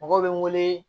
Mɔgɔw bɛ n wele